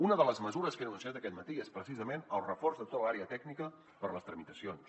una de les mesures que he denunciat aquest matí és precisament el reforç de tota l’àrea tècnica per a les tramitacions